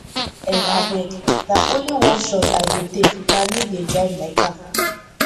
um abeg na only one shot i go take na me dey drive my car